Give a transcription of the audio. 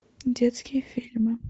детские фильмы